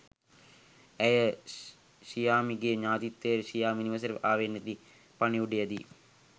ඇය ෂියාම්ගේ ඥතීන්ටද ෂියාම් නිවසට ආවේ නැති පණිවුඩය දී